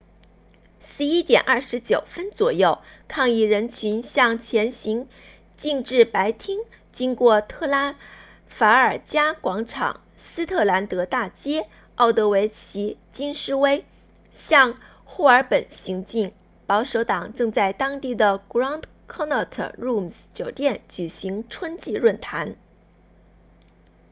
11点29分左右抗议人群向前行进至白厅经过特拉法尔加广场斯特兰德大街奥德维奇京士威向霍尔本行进保守党正在当地的 grand connaught rooms 酒店举行春季论坛